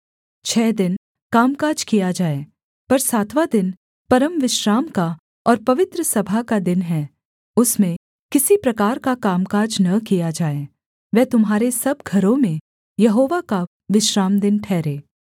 छः दिन कामकाज किया जाए पर सातवाँ दिन परमविश्राम का और पवित्र सभा का दिन है उसमें किसी प्रकार का कामकाज न किया जाए वह तुम्हारे सब घरों में यहोवा का विश्रामदिन ठहरे